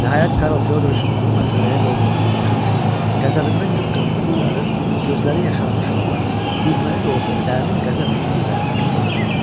Nəhayət Karl Fyodriç onu məsxərəyə qoyduğumuzu başa düşür, qəzəbindən qıpqırmızı qızarır, gözləri yaşarmış halda gülməli də olsa dərin qəzəb hissi ilə pörtürdü.